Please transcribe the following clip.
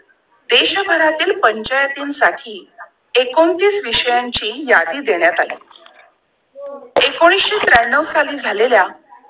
देश भरातील पंचायतीं साठी एकोणतीस विषयांची यादी देण्यात आली! एकोणीसशे त्र्यांनो साली झालेला